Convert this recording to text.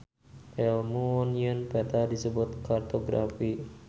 Elmu nyieun peta disebut kartografi.